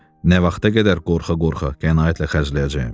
Nə vaxta qədər qorxa-qorxa qənaətlə xərcləyəcəm?